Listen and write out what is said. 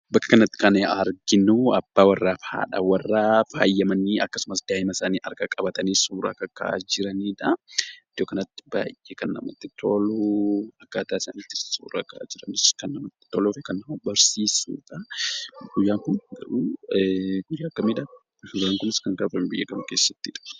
Bakka kanatti kan arginu abbaa warraa fi haadha warraa faayamanii akkasumas daa'ima isaanii harka qabatanii suuraa kakka'aa jiranidha. Iddoo kanatti baay'ee kan namatti tolu akkaataa isaan itti suura ka'aa jiranis kan namatti tolu fi kan nama barsiisudha. Guyyaan kun ta'u guyyaa akkamidha? Akkasumas guyyaan kun kan kabajamu biyya kam keessattidha?